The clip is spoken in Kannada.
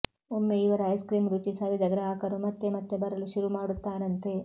ಒಮ್ಮೆ ಇವರ ಐಸ್ಕ್ರೀಂ ರುಚಿ ಸವಿದ ಗ್ರಾಹಕರು ಮತ್ತೆ ಮತ್ತೆ ಬರಲು ಶುರು ಮಾಡುತ್ತಾರಂತೆ